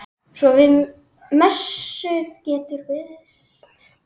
Svo við messu getur bæst.